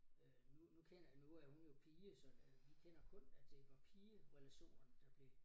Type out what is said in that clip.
Øh nu nu kender nu er hun jo pige så øh vi kender kun at det var pigerelationerne der blev